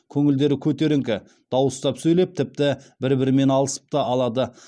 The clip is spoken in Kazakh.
көңілдері көтеріңкі дауыстап сөйлеп тіпті бір бірімен алысып та алады